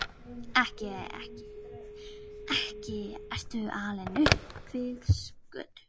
Ekki ertu alinn upp við skötu?